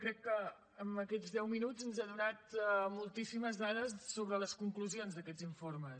crec que en aquests deu minuts ens ha donat moltíssimes dades sobre les conclusions d’aquests informes